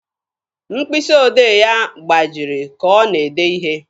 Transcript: Mkpịsị odee ya gbajiri ka ọ na-ede ihe.